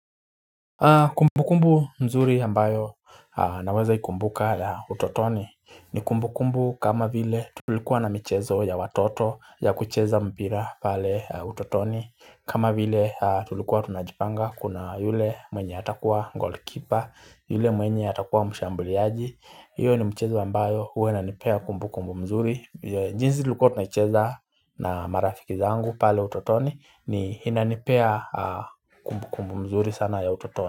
Kumbukumbu nzuri ambayo naweza ikumbuka utotoni ni kumbukumbu kama vile tulikuwa na michezo ya watoto ya kucheza mpira pale utotoni kama vile tulikuwa tunajipanga kuna yule mwenye atakuwa goalkeeper yule mwenye atakuwa mshambuliaji hiyo ni mchezo ambayo hua inanipea kumbukumbu mzuri jinsi tulikuwa tunaicheza na marafiki zangu pale utotoni ni inanipea kumbukumbu mzuri sana ya utotoni.